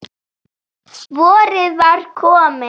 Vorið var komið.